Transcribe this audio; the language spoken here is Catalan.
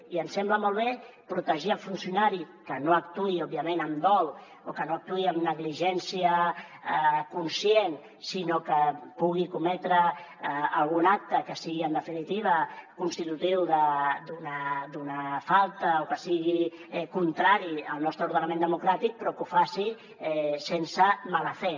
i em sembla molt bé protegir el funcionari que no actuï òbviament amb dol o que no actuï amb negligència conscient sinó que pugui cometre algun acte que sigui en definitiva constitutiu d’una falta o que sigui contrari al nostre ordenament democràtic però que ho faci sense mala fe